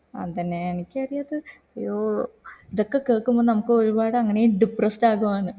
അതന്നെ എനിക്ക് അറിയത്തെ ഓ ഇതൊക്കെ കേൾക്കുമ്പോ നമക് ഒരുപാട് അങ്ങനെ depressed ആകു ആണ്